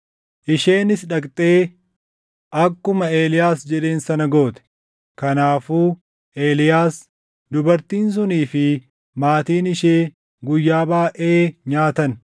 Isheenis dhaqxee akkuma Eeliyaas jedheen sana goote. Kanaafuu Eeliyaas, dubartiin sunii fi maatiin ishee guyyaa baayʼee nyaatan.